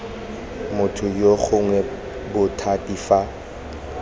motho yoo gongwe bothati fa